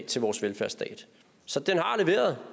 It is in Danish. til vores velfærdsstat så